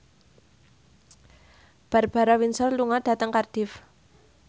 Barbara Windsor lunga dhateng Cardiff